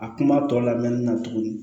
A kuma tɔ labɛnni na tuguni